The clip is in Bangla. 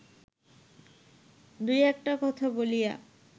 দুই একটা কথা বলিয়া